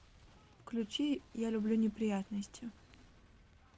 включи я люблю неприятности